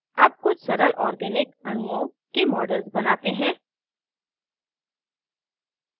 अब कुछ सरल organic अणुओं के models बनाते हैं